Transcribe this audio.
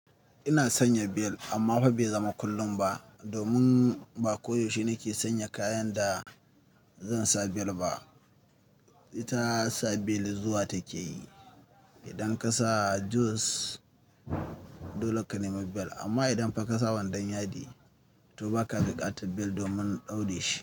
Ina sanya bel amma fa bai zama kullum ba. Domin ba koyaushe nake sanya kayan da zan sa bel ba. Ita sa bel zuwa take yi. Idan ka sa jeans dole ka nema bel amma idan fa ka sa wandon yadi to ba ka buƙatar bel domin daure shi.